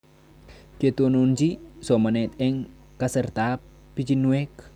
Ketononchi somanet eng' kasartab pichinwek